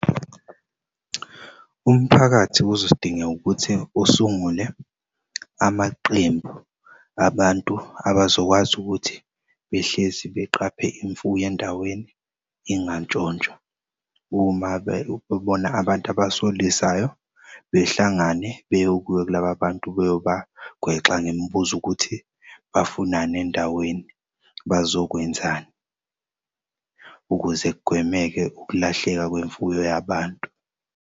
Umphakathi kuzodingeka ukuthi usungule amaqembu abantu abazokwazi ukuthi behlezi beqaphe imfuyo endaweni ingantshontshwa uma bebona abantu abasolisayo behlangane bayobuya kulaba bantu beyobagwexa ngemibuzo ukuthi bafunani endaweni, bazokwenzani. Ukuze kugwemeke ukulahleka kwemfuyo yabantu.